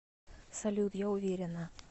салют я уверена